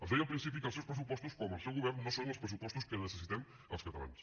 els deia al principi que els seus pressupostos com el seu govern no són els pressupostos que necessitem els catalans